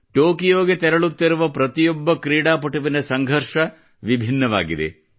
ಟೊಕಿಯೋಗೆ ತೆರಳುತ್ತಿರುವ ಪ್ರತಿಯೊಬ್ಬ ಕ್ರೀಡಾಪಟುವಿನ ಸಂಘರ್ಷ ವಿಭಿನ್ನವಾಗಿದೆ